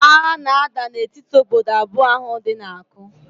Agha na-ada na etiti ododo abụọ ahụ dị na Aku